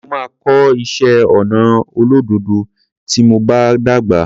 Mo máa kọ́ iṣé ọnà olódòdó tí mo bá dàgbà.